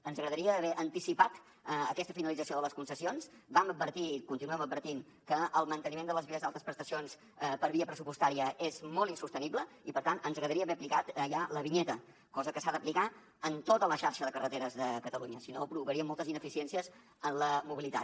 ens agradaria haver anticipat aquesta finalització de les concessions vam advertir continuem advertint que el manteniment de les vies d’altes prestacions per via pressupostària és molt insostenible i per tant ens agradaria haver aplicat ja la vinyeta cosa que s’ha d’aplicar en tota la xarxa de carreteres de catalunya sinó provocaria moltes ineficiències en la mobilitat